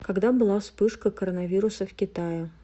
когда была вспышка коронавируса в китае